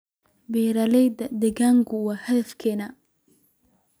Beeralayda deegaanku waa hadafkeena.